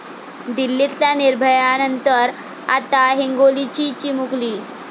दिल्लीतल्या निर्भयानंतर, आता हिंगोलीची चिमुकली